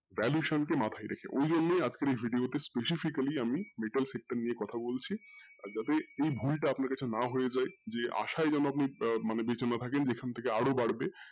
valuation কে মাথায় রেখে ওইজন্যই আজকের এই video টা specifically আমি sector নিয়ে কোথা বলছি আর যাতে এই ভুলটা আপনার কাছে না হয়ে যায় যে আশায় আপনি যাতে বেঁচে না থাকেন যে এখান থেকে আরও বাড়বে,